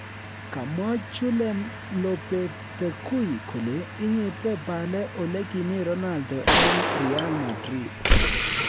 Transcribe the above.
Kamwa Julen Lopetegui kole inyite Bale olekimii Ronaldo en Real Madrid